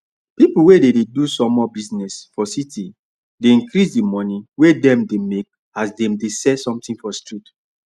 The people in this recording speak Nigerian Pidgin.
pipu wey dey do sumol business for city dey increase di money wey dem dey make as dem dey sell somthing for street